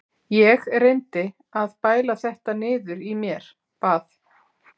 Ég reyndi að bæla þetta niður í mér, bað